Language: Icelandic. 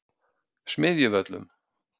Smiðjuvöllum